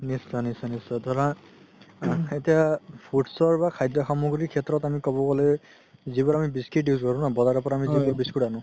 নিশ্চয় নিশ্চয় নিশ্চয় নিশ্চয় ধৰা foods ৰ বা খাদ্য সামগ্ৰী শেত্ৰত আমি ক'ব গ'লে যিবোৰ আমি biscuit use কৰো ন বজাৰৰ পৰা আমি যিবোৰ biscuit আনো